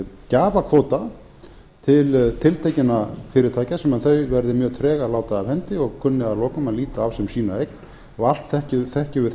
gjafakvóta til tiltekinna fyrirtækja sem þau verða mjög treg að láta af hendi og kunni að lokum að líta þá sem sína eign allt þekkjum við